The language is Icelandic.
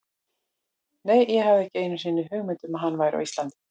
Nei, ég hafði ekki einu sinni hugmynd um að hann væri á Íslandi.